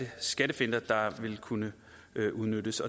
skattefinter der vil kunne udnyttes